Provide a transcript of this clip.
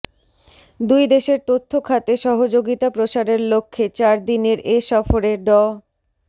দুই দেশের তথ্য খাতে সহযোগিতা প্রসারের লক্ষ্যে চারদিনের এ সফরে ড